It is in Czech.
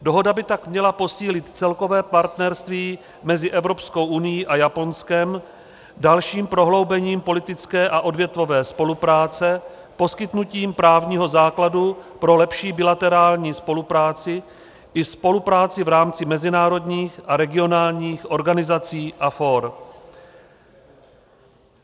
Dohoda by tak měla posílit celkové partnerství mezi Evropskou unií a Japonskem dalším prohloubením politické a odvětvové spolupráce, poskytnutím právního základu pro lepší bilaterální spolupráci i spolupráci v rámci mezinárodních a regionálních organizací a fór.